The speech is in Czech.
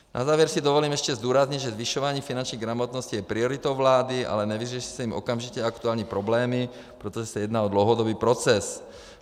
Na závěr si dovolím ještě zdůraznit, že zvyšování finanční gramotnosti je prioritou vlády, ale nevyřeší se tím okamžitě aktuální problémy, protože se jedná o dlouhodobý proces.